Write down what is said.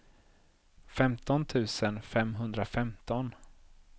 femton tusen femhundrafemton